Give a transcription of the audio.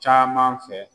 Caman fɛ